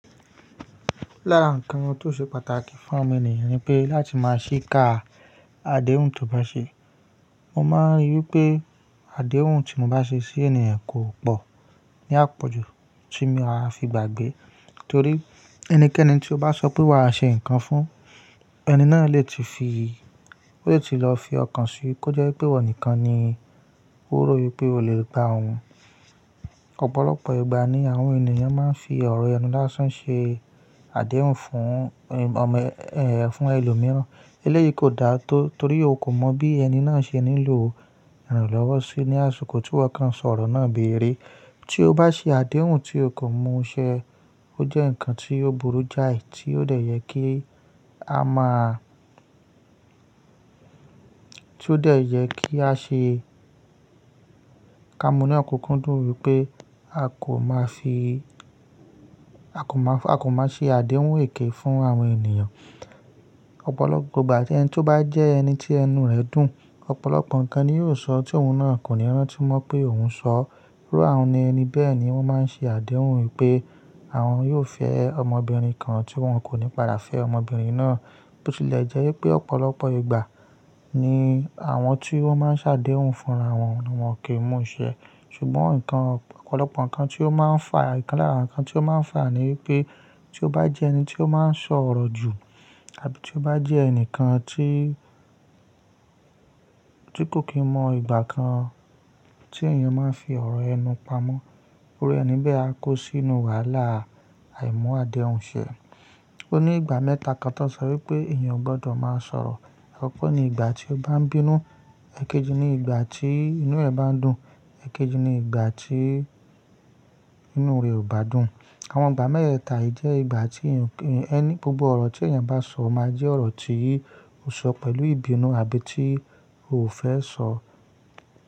Lára ǹkan tó ṣe pàtàkì fún omo ènìyàn ni pé láti máa ṣíká àdéhùn tó bá ṣe. Mo máa ń rí i pé àdéhùn tí mo bá ṣe sí ènìyàn kò pọ̀ ní àpọ̀jù tí mo máa fi gbàgbé torí ẹnikẹ́ni tí ó bá sọ pé wa ṣe nǹkan fún, ẹni náà lè ti fi, o lè ti lọ fi ọkàn síi kó jẹ́ wípé iwo nìkan ni ó ri wípé ó lè gba òun. Ọ̀pọ̀lọpọ̀ ìgbà ni àwọn ènìyàn máa ń fi ọ̀rọ̀ ẹnu lásán ṣe àdéhùn fún ẹlòmíràn. Eléyìí kò dáa tó, torí o kò mọ̀ bí ẹni náà ṣe nílò iranlọ́wọ́ sí ní àsìkò tí iwọ kàn sọ̀rọ̀ náà bi erè. Tí o bá ṣe àdéhùn tí o kò mú ṣẹ, o jẹ́ ǹkan tí ò burú jáì, tí ó dẹ̀ yẹ kí a máa, tí ó dẹ̀ yẹ kí a ṣe, ká mu ni okúkú dùn wípé a kò máa fi, a kò máa ṣe àdéhùn èké fún àwọn ènìyàn. Ọ̀pọ̀lọpọ̀ ìgbà, ẹni tí ó bá jẹ ẹni tí ẹnu ẹ̀ dùn, ọ̀pọ̀lọpọ̀ ǹkan ni yóò sọ tí òun náà kò ní rántí mọ̀ pé òun ṣọ. Iru àwọn ẹni bẹ́ẹ̀ ni wọ́n máa ń ṣe àdéhùn wípé àwọn yóò fẹ́ ọmọbìnrin kan tí wọ́n kò ní padà fẹ́ ọmọbìnrin náà, bó ti lè jẹ́ wípé ọ̀pọ̀lọpọ̀ ìgbà ni àwọn tí wọ́n máa ń ṣàdéhùn fúnra wọn ni wọ́n ki mú ṣẹ. Ṣùgbọ́n ǹkan ọ̀pọ̀lọpọ̀ ǹkan tí ó máa ń fà, ǹkan lára ǹkan tí ó máa ń fà ni wípé tí o bá jẹ ẹni tí ó máa ń sọ̀ orọ̀ jù àbí tí o bá jẹ́ ẹnìkan tí, tí kò kí mọ ìgbà kan tí èèyàn máa ń fi ọ̀rọ̀ ẹnu pamọ́, iru ẹni bẹ́ẹ̀ á kó sínú wàhálà àìmú àdéhùn ṣẹ. Ó ní ìgbà mẹ́ta kan tó ń sọ wípé èèyàn ò gbọdọ̀ máa sọ̀rọ̀. Ọ̀pọ̀ ni ìgbà tí o bá ń bínú, èkejì ni ìgbà tí inú ẹ bá ń dùn, èkejì ni ìgbà tí inú rẹ ò bá dùn. Àwọn ìgbà mẹ́tẹ̀ta yìí jẹ́ ìgbà tí èèyàn, gbogbo ọ̀rọ̀ tí èèyàn bá sọ ko máa jẹ́ ọ̀rọ̀ tí ó ṣọ pẹ̀lú ìbínú àbí tí ó fẹ́ sọ.